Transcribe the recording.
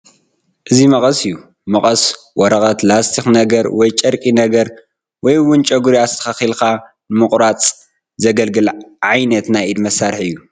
እዚ መቐስ እዩ፡፡ መቐስ ወረቐት፣ ላስቲክ ነገር፣ ወይ ጨርቂ ነገር ወይ እውን ጨጉሪ ኣስተኻኺልካ ንምቑራፅ ዘገልግል ዓይነት ናይ ኢድ መሳርሒ እዩ፡፡